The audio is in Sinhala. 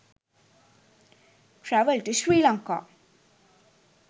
travel to sri lanka